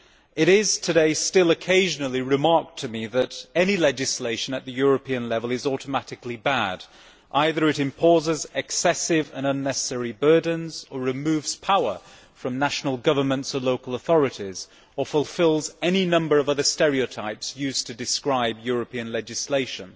It is today still occasionally remarked to me that any legislation at the European level is automatically bad either it imposes excessive or unnecessary burdens, or it removes power from national governments or local authorities, or it fulfils any number of other stereotypes used to describe European legislation.